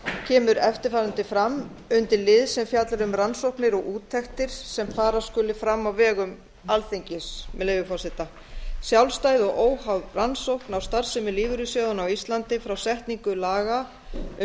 kemur eftirfarandi fram undir lið sem fjallar um rannsóknir og úttektir sem fara skuli fram á vegum alþingis með leyfi forseta sjálfstæð og óháð rannsókn á starfsemi lífeyrissjóðanna á íslandi frá setningu laga um